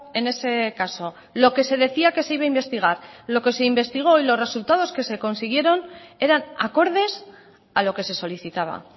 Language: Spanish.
en ese caso lo que se decía que se iba a investigar lo que se investigó y los resultados que se consiguieron eran acordes a lo que se solicitaba